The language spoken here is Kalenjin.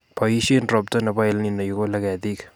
Boisie robta nebo EL Nino ikole ketik